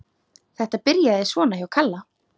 Þetta byrjaði svona hjá Kalla.